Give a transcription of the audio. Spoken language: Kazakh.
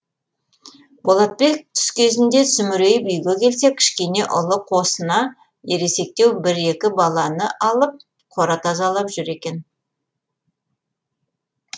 болатбек түс кезінде сүмірейіп үйге келсе кішкене ұлы қосына ересектеу бір екі баланы алып қора тазалап жүр екен